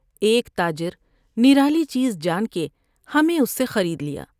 ایک تاجر نرالی چیز جان کے ہمیں اس سے خرید لیا ۔